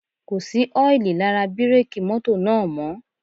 Kò sí ọ́ìlì lára bírèkì mọ́tò náà mọ́